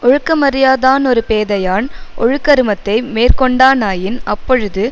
ஒழுக்கமறியாதானொருபேதையான் ஒழுகருமத்தை மேற்கொண்டானாயின் அப்பொழுது